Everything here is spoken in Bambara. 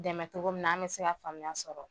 Dɛmɛ cogo min na an mɛ se ka faamuya sɔrɔ.